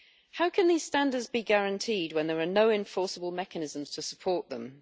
How can these standards be guaranteed when there are no enforceable mechanisms to support them?